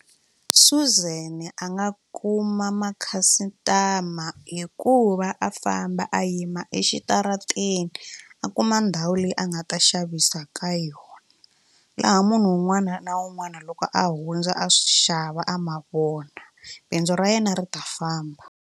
Suzan a nga kuma makhasitama hikuva a famba a yima exitarateni a kuma ndhawu leyi a nga ta xavisa ka yona laha munhu un'wana na un'wana loko a hundza a swi xava a ma vona bindzu ra yena ri ta famba.